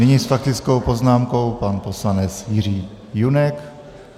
Nyní s faktickou poznámkou pan poslanec Jiří Junek.